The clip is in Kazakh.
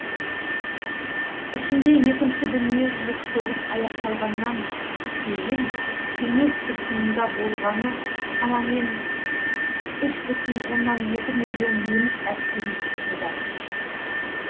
ішінде екінші дүниежүзілік соғыс аяқталғаннан кейін кеңес тұтқынында болғаны шамамен үш бүтін оннан екі миллион неміс әскери тұтқындар